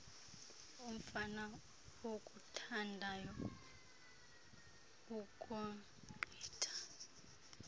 umfana okuthandayo ukogqitha